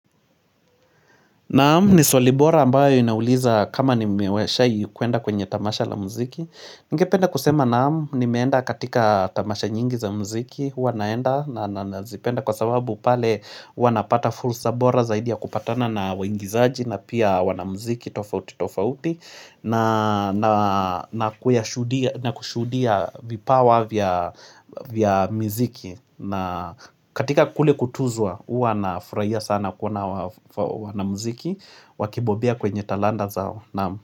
Naam ni swali bora ambayo inauliza kama nimeweshai kuenda kwenye tamasha la muziki. Ningependa kusema naam nimeenda katika tamasha nyingi za muziki. Huwa naenda na nazipenda kwa sababu pale wana napata fursa bora zaidi ya kupatana na waingizaji na pia wanamuziki tofauti tofauti na kushuhudia vipawa vya vya miziki. Na katika kule kutuzwa huwa na furahia sana kuona wanamuziki Wakibobea kwenye talanta zao naam.